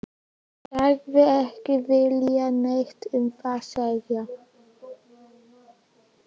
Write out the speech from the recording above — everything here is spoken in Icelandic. Sagðist ekki vilja neitt um það segja.